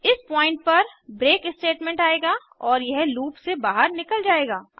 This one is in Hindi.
इस पॉइंट पर ब्रेक स्टेटमेंट आएगा और यह लूप से बहार निकल जायेगा